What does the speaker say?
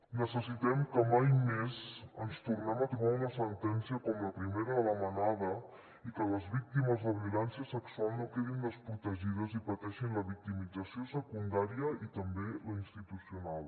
necessitem que mai més ens tornem a trobar una sentència com la primera de la manada i que les víctimes de violència sexual no quedin desprotegides i pateixin la victimització secundària i també la institucional